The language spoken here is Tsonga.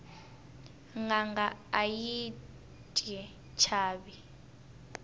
nanga ayi yti chayi